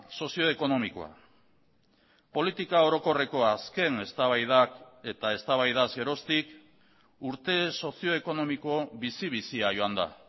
sozio ekonomikoa politika orokorreko azken eztabaidak eta eztabaidaz geroztik urte sozio ekonomiko bizi bizia joan da